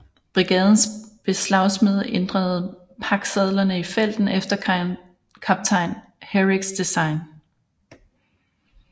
Brigadens beslagsmede ændrede paksadlerne i felten efter kaptajn Herricks design